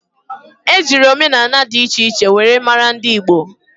Eji nri omenani di iche iche were mara ndi Igbo.